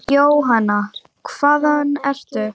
Jóhanna: Hvaðan ertu?